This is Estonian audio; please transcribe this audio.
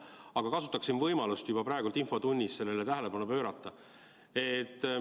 Aga kasutaksin võimalust juba praegu infotunnis sellele tähelepanu pöörata.